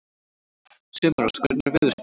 Sumarrós, hvernig er veðurspáin?